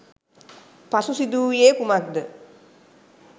පසු සිදු වූයේ කුමක්ද?